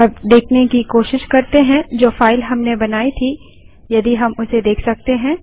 अब देखने की कोशिश करते हैं जो फाइल हमने बनाई थी यदि हम उसे देख सकते हैं